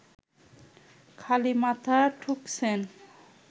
খালি মাথা ঠুকছেন